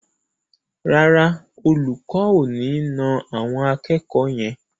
Rárá, Olùkọ́ ò ní na àwọn akẹ́kọ̀ọ́ yẹn.